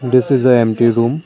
this is a empty room.